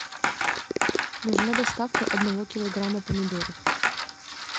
нужна доставка одного килограмма помидоров